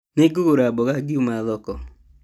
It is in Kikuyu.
Nĩngũgũra mboga ngiuma thoko